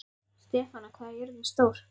Stefana, hvað er jörðin stór?